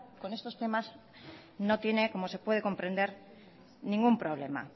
con estos temas no tiene como se puede comprender ningún problema